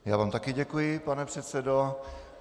Já vám také děkuji, pane předsedo.